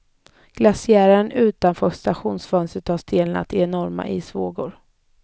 Glaciären utanför stationsfönstret har stelnat i enorma isvågor.